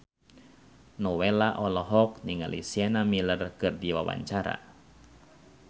Nowela olohok ningali Sienna Miller keur diwawancara